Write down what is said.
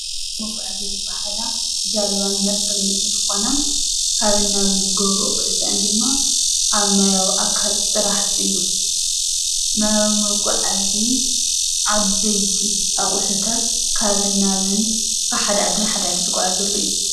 መጓዓዚያ ዝባሃላ ጃልባ፣ መርከብን እንትኾና ካብ ናብ ዝገብሮኦ ጉዕዝ እነ ድማ ኣብ ማያዊ ኣካል ጥራሓ እዩ፡፡ ናብ መጓዓዚ ዓበይቲ ኣቑሕታት ካብ ናብ ካብ ሓደ ዓዲ ናብ ሓደ ዓዲ ዝጓዓዘሉ እዩ፡፡